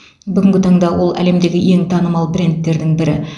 бүгінгі таңда ол әлемдегі ең танымал брендтердің бірі